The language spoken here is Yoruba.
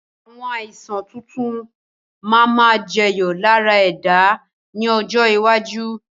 Àwọn Àìsàn tuntun máa ma jẹyọ lára ẹ̀dá ni ọjọ́ iwájú